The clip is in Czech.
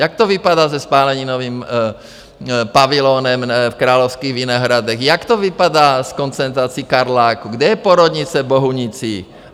Jak to vypadá s popáleninovým pavilonem v Královských Vinohradech, jak to vypadá s koncentrací Karláku, kde je porodnice v Bohunicích?